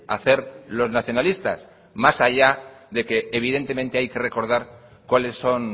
hacer los nacionalistas más allá de que evidentemente hay que recordar cuáles son